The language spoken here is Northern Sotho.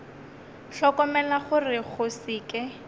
hlokomela gore go se ke